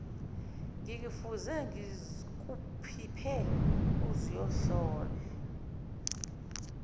ngikufunze ngikuphiphe uzoyohlola